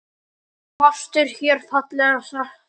Margt er hér fallega sagt.